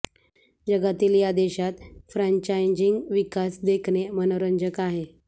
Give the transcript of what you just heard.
जगातील या देशात फ्रॅंचायझिंग विकास देखणे मनोरंजक आहे